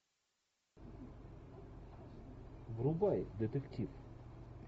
врубай детектив